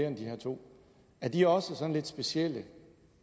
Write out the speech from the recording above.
end de her to er de også sådan lidt specielle